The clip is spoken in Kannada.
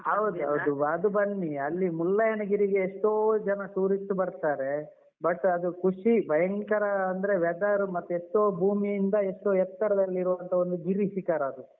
ಹೌದೌದು ಅದು ಬನ್ನಿ ಅಲ್ಲಿ ಮುಳ್ಳಯ್ಯನಗಿರಿ ಗೆ ಎಷ್ಟೋ ಜನ tourist ಬರ್ತಾರೆ but ಅದು ಖುಷಿ ಭಯಂಕರ ಅಂದ್ರೆ weather ಮತ್ತೆ ಎಷ್ಟೋ ಭೂಮಿಯಿಂದ ಎಷ್ಟೋ ಎತ್ತರದಲ್ಲಿ ಇರುವಂತಹ ಒಂದು ಗಿರಿ ಶಿಖರ ಅದು.